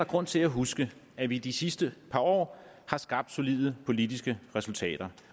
grund til at huske at vi i de sidste par år har skabt solide politiske resultater